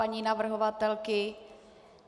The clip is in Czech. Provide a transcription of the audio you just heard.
Paní navrhovatelky?